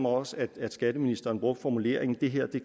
også at skatteministeren brugte formuleringen det her